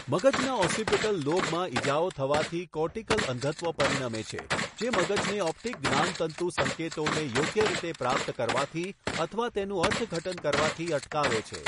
મગજના ઓસિપિટલ લોબમાં ઇજાઓ થવાથી કોર્ટીકલ અંધત્વ પરિણમે છે, જે મગજને ઓપ્ટિક જ્ઞાનતંતુ સંકેતોને યોગ્ય રીતે પ્રાપ્ત કરવાથી અથવા તેનું અર્થઘટન કરવાથી અટકાવે છે.